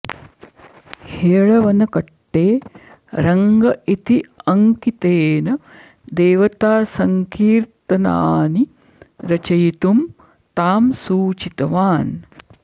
हेळवनकट्टे रङ्ग इति अङ्कितेन देवतासङ्किर्तनानि रचियितुं तां सूचितवान्